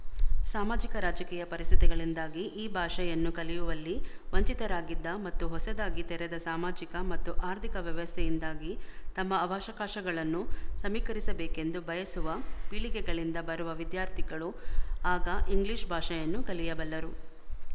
ಸಾಮಾಜಿಕ ರಾಜಕೀಯ ಪರಿಸ್ಥಿತಿಗಳಿಂದಾಗಿ ಈ ಭಾಷೆಯನ್ನು ಕಲಿಯುವಲ್ಲಿ ವಂಚಿತರಾಗಿದ್ದ ಮತ್ತು ಹೊಸದಾಗಿ ತೆರೆದ ಸಾಮಾಜಿಕ ಮತ್ತು ಆರ್ಥಿಕ ವ್ಯವಸ್ಥೆಯಿಂದಾಗಿ ತಮ್ಮ ಅವಕಾಶಗಳನ್ನು ಸಮೀಕರಿಸಬೇಕೆಂದು ಬಯಸುವ ಪೀಳಿಗೆಗಳಿಂದ ಬರುವ ವಿದ್ಯಾರ್ಥಿಗಳು ಆಗ ಇಂಗ್ಲಿಶ ಭಾಷೆಯನ್ನು ಕಲಿಯಬಲ್ಲರು